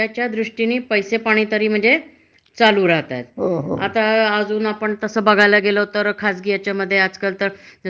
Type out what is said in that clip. त्याच्यामध्ये सुद्धा वाटत की आजकाल खूप म्हणजे कमवायला गेल तर भरपूर पैसे मिळतात. म्हणजे फुलांना सुद्धा वाव आहे, सनावराला लागतात,